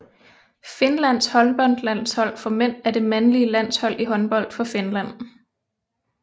Finlands håndboldlandshold for mænd er det mandlige landshold i håndbold for Finland